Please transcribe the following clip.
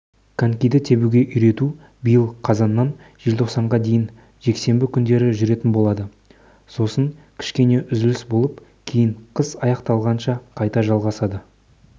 коньки тебуге үйрету биыл қазаннан желтоқсанға дейін жексенбі күндері жүретін болады сосын кішкене үзіліс болып кейін қыс аяқталғанша қайта жалғасады